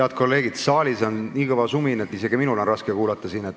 Head kolleegid, saalis on nii kõva sumin, et isegi minul siin on raske kuulata.